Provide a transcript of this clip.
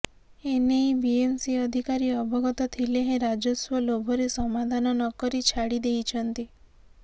ଏନେଇ ବିଏମ୍ସି ଅଧିକାରୀ ଅବଗତ ଥିଲେ ହେଁ ରାଜସ୍ୱ ଲୋଭରେ ସମାଧାନ ନ କରି ଛାଡ଼ି ଦେଇଛନ୍ତି